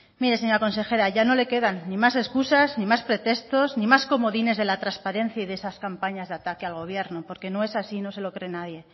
mire señora consejera ya no le quedan ni más excusas ni más pretextos ni más comodines de la transparencia y de esas campañas de ataque al gobierno porque no es así y no se lo cree nadie